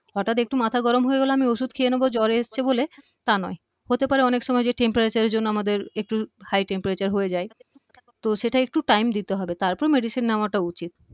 হঠাৎ একটু মাথা গরম হয়ে গেলো আমি ঔষধ খেয়ে নেবো জ্বর এসছে বলে তা নয় হতে পারে অনেক সময় যে temperature এর জন্য আমাদের একটু high temperature হয়ে যায় তো সেটা একটু time দিতে হবে তারপর medicine নেওয়াটা উচিত